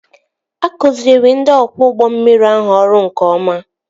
Akụziri ndị ọkwọ ụgbọ mmiri ahụ ọrụ nke ọma